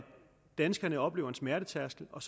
danskerne oplever en smertetærskel og